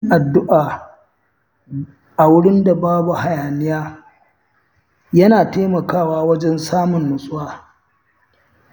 Yin addu’a a wurin da babu hayaniya yana taimakawa wajen samun nutsuwa.